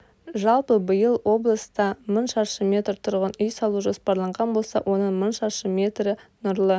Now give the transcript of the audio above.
жалпы биыл облыста мың шаршы метр тұрғын үй салу жоспарланған болса оның мың шаршы метрі нұрлы